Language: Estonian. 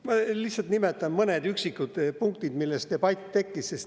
Ma lihtsalt nimetan mõned üksikud punktid, mille puhul debatt tekkis.